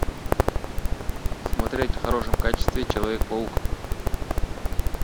смотреть в хорошем качестве человек паук